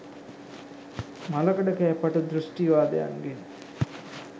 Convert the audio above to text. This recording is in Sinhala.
මළකඩ කෑ පටු දෘෂ්ටිවාදයන්ගෙන්